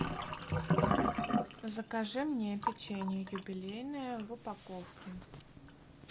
закажи мне печенье юбилейное в упаковке